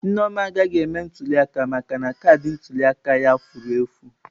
Nneoma agaghị eme ntuliaka maka na kaadị ntuli aka ya furu efụ.